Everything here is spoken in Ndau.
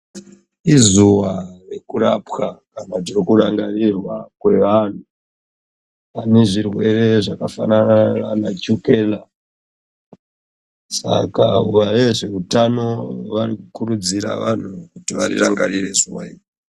Izuwa rekurapwa apa tirikurangarira kwevanhu vane zvirwere zvakafanana nechukera Saka vezveutano vanokurudzira vantu kuti vari rangarire zuwa iri.